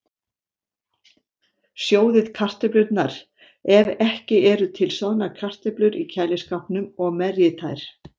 Sjóðið kartöflurnar, ef ekki eru til soðnar kartöflur í kæliskápnum, og merjið þær.